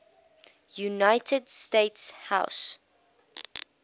united states house